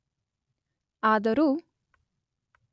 ಆದರೂ